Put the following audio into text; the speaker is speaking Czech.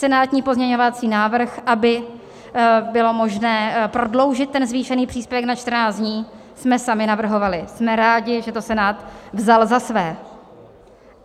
Senátní pozměňovací návrh, aby bylo možné prodloužit ten zvýšený příspěvek na 14 dní, jsme sami navrhovali, jsme rádi, že to Senát vzal za své.